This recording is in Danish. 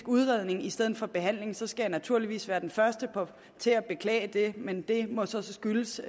udredning i stedet for behandling skal jeg naturligvis være den første til at beklage det men det må så skyldes